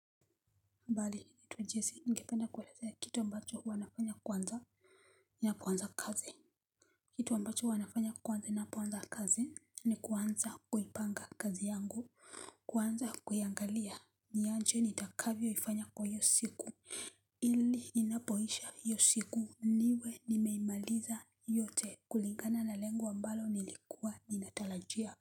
Mbali ni tu jinsi ningependa kuelezea kitu ambacho huwa nafanya kwanza ninapoanza kazi. Kitu ambacho huwa nafanya kwanza ninapoanza kazi ni kuanza kuipanga kazi yangu kuanza kuiangalia. Ni aje nitakavyo ifanya kwa hiyo siku ili inapoisha hiyo siku niwe nimeimaliza yote kulingana na lengo ambalo nilikuwa ninatarajia kwa hivyo.